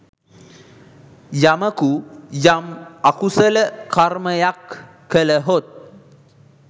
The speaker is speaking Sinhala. යමකු යම් අකුසල කර්මයක් කළහොත්